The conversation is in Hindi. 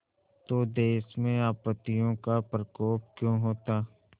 तो देश में आपत्तियों का प्रकोप क्यों होता